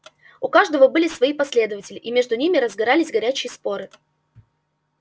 у каждого были свои последователи и между ними разгорались горячие споры